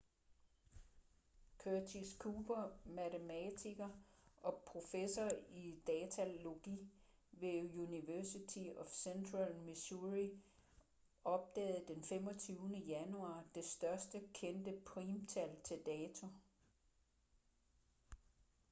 curtis cooper matematiker og professor i datalogi ved university of central missouri opdagede d 25. januar det største kendte primtal til dato